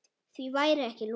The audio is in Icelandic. Því væri ekki lokið.